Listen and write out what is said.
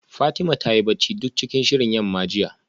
Fatima ta yi bacci duk cikin shirin yamma jiya